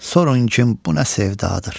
Sorun kim bu nə sevdadır.